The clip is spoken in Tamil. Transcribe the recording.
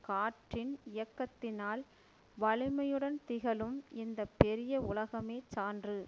காற்றின் இயக்கத்தினால் வலிமையுடன் திகழும் இந்த பெரிய உலகமே சான்று